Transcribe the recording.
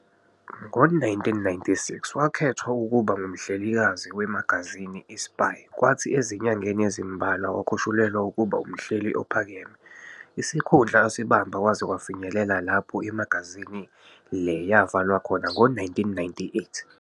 Ngo 1996, wakhethwa ukubha ngumhlelikazi wemagazini i-"Spy" kwathi ezinyangeni ezimbalwa wakhushulelwa ukuba umhleli ophakeme, isikhundla asibamba kwaze kwafinyelela lapho imagazini le yavalwa khona ngo 1998.